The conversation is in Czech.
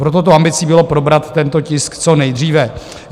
Proto tou ambicí bylo probrat tento tisk co nejdříve.